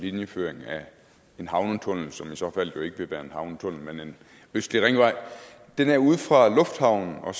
linjeføring af en havnetunnel som i så fald jo ikke vil være en havnetunnel men en østlig ringvej den er ude fra lufthavnen og